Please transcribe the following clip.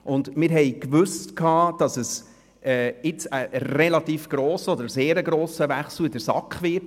Uns war bewusst, dass es in der SAK einen relativ grossen Wechsel geben wird.